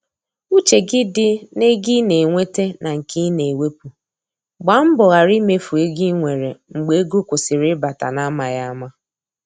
Uche gị di n’ego ị na enweta na nke i na ewepụ, gba mbọ ghara imefu ego i nwere mgbe ego kwụsịrị ịbata n’amaghị ama.